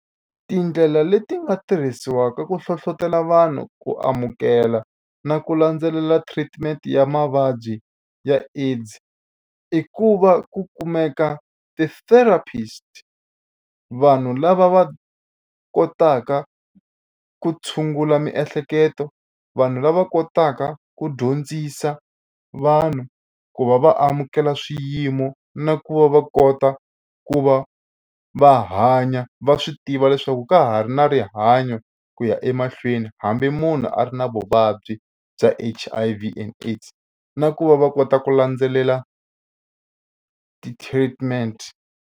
Tindlela leti nga tirhisiwaka ku hlohlotelo vanhu ku amukela na ku landzelela treatment ya mavabyi ya AIDS i ku va ku kumeka ti-therapist vanhu lava va kotaka ku tshungula miehleketo vanhu lava kotaka ku dyondzisa vanhu ku va va amukela swiyimo na ku va va kota ku va va hanya va swi tiva leswaku ka ha ri na rihanyo ku ya emahlweni hambi munhu a ri na vuvabyi bya H_I_V and AIDS na ku va va kota ku landzelela ti-treatment.